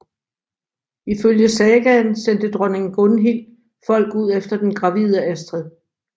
Ifølge sagaen sendte dronning Gunhild folk ud efter den gravide Astrid